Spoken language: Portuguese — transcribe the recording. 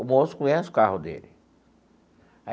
O moço conhece o carro dele.